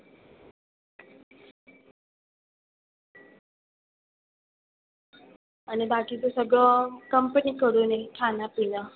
आणि बाकीचं सगळं company कडून आहे खाणंपिणं.